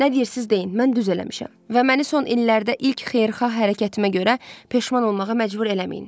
Nə deyirsiz deyin, mən düz eləmişəm və məni son illərdə ilk xeyirxah hərəkətimə görə peşman olmağa məcbur eləməyin.